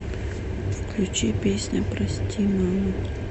включи песня прости мама